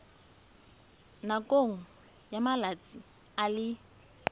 nakong ya malatsi a le